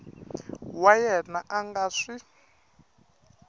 wa yena a nga swi